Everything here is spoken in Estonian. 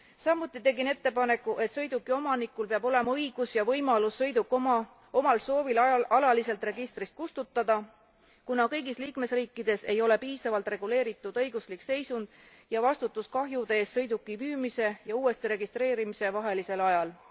Samuti tegin ettepaneku, et sõiduki omanikul peab olema õigus ja võimalus sõiduk omal soovil alaliselt registrist kustutada, kuna kõigis liikmesriikides ei ole piisavalt reguleeritud õiguslik seisund ja vastutus kahjude eest sõiduki müümise ja uuesti registreerimise vahelisel ajal.